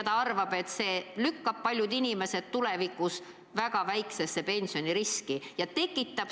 Ta arvab, et see asetab paljud inimesed väga väikese pensioni riski olukorda.